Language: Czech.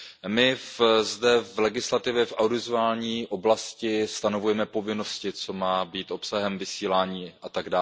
My zde v legislativě v audiovizuální oblasti stanovujeme povinnosti, co má být obsahem vysílání atd.